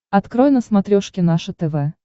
открой на смотрешке наше тв